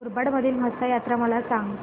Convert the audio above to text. मुरबाड मधील म्हसा जत्रा मला सांग